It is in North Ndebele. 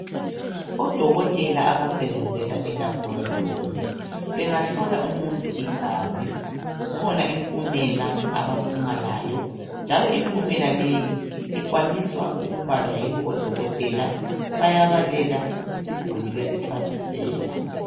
Odokotela abasebenzela elaboratory bengahlola umuntu igazi kukhona impumela abaphuma layo njalo impumela leyi ikwaniswa ukubalwa yibo odokotela bayabalela isiguli besichasisela.